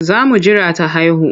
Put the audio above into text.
Za mu jira ta haihu.